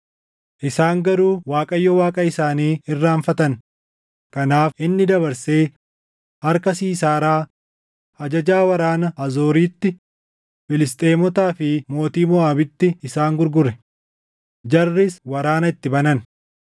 “Isaan garuu Waaqayyo Waaqa isaanii irraanfatan; kanaaf inni dabarsee harka Siisaaraa ajajaa waraana Haazooriitti, Filisxeemotaa fi mootii Moʼaabitti isaan gurgure; jarris waraana itti banan.